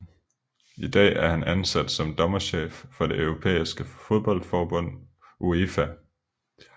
I dag er han ansat som dommerchef for det europæiske fodboldforbund UEFA